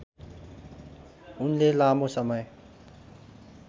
उनले लामो समय